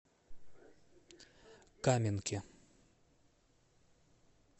каменке